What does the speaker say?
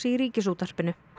í Ríkisútvarpinu